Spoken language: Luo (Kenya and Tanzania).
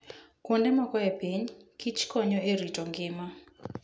Kuonde moko e piny, kich konyo e rito ngima.